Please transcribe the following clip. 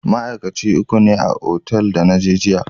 Ma'aikaci uku ne kawai a otal da na je jiya.